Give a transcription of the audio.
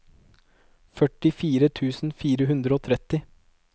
førtifire tusen fire hundre og tretti